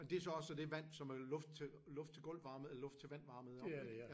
Og det så også det vand som er luft til luft til gulv varmet luft til vand varmet om ik?